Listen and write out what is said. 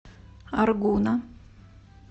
аргуна